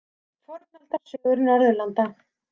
Fornaldarsögur Norðurlanda.